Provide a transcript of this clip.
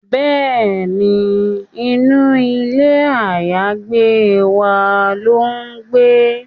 Bẹ́ẹ̀ni, inú ilé àyágbé wa ló ń gbé